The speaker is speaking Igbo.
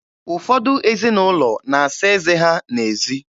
Ụfọdụ ezinụlọ na-asa eze ha n'ezi.